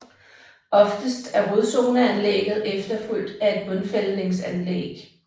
Oftest er rodzoneanlægget efterfulgt af et bundfældningsanlæg